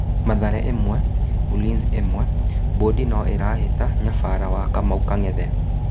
Mathare 1-1 Ulinzi: Bũndi no arahĩ ta nyabara Kamau wa Kang'ethe.